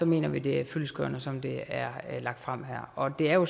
mener vi det er fyldestgørende som det er lagt frem her og det er jo